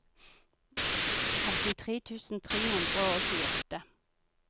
åttitre tusen tre hundre og tjueåtte